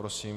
Prosím.